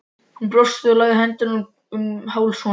Hún brosti og lagði hendurnar um háls honum.